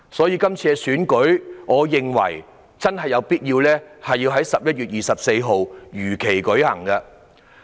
因此，我認為有必要讓這次選舉在11月24日如期舉行。